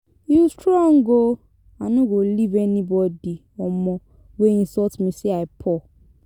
You strong oo, I no go leave anybody um wey insult me say I poor.